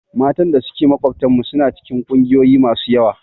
Matan da suke makwabtanmu suna cikin ƙungiyoyi masu yawa.